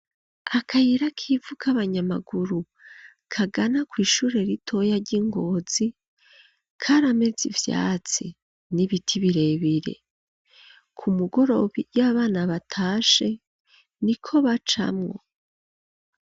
Akayira k'ivu kabanyamaguru, kagana kw'ishure ritoya ry'i Ngozi, karameze ivyatsi n'ibiti birebire, ku mugoroba iyo abana batashe niko bacamwo.